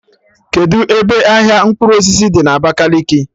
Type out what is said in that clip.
Kedụ ebe ahịa mkpụrụ osisi dị na Abakaliki?